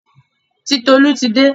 Titolú ti dé.